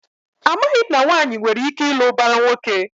Amaghị m na nwaanyị nwere ike ịlụ ụbara nwoke.